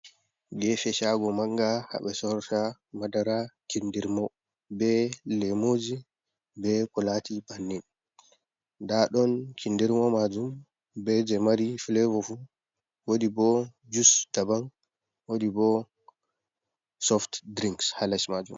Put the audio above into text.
Gefe shago manga haɓe sorta madara kindirmo, be lemuji be kolati bannin, nda ɗon kindirmo majum, be je mari filevo fu, wodi bo jus daban, wadi bo sof dirinks hales majum.